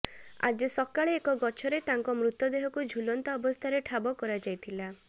ଆଜି ସକାଳେ ଏକ ଗଛରେ ତାଙ୍କ ମୃତଦେହକୁ ଝୁଲନ୍ତା ଅବସ୍ଥାରେ ଠାବ କରାଯାଇଥିଲା